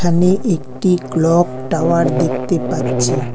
এখানে একটি clock tower দেখতে পাচ্ছি।